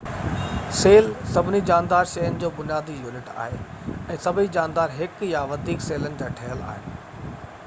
cell سڀني جاندار شين جو بنيادي يونٽ آهي ۽ سڀئي جاندار هڪ يا وڌيڪ سيلن جا ٺهيل آهن